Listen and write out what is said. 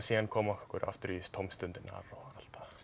að koma okkur aftur í tómstundirnar og allt